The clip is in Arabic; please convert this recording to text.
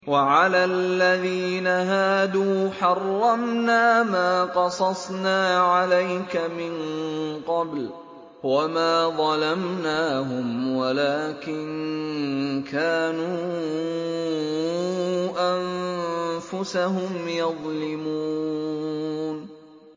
وَعَلَى الَّذِينَ هَادُوا حَرَّمْنَا مَا قَصَصْنَا عَلَيْكَ مِن قَبْلُ ۖ وَمَا ظَلَمْنَاهُمْ وَلَٰكِن كَانُوا أَنفُسَهُمْ يَظْلِمُونَ